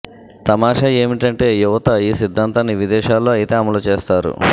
తమాషా ఏమిటంటే యువత యీ సిద్ధాంతాన్ని విదేశాల్లో అయితే అమలు చేస్తారు